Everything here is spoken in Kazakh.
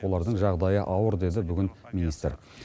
олардың жағдайы ауыр деді бүгін министр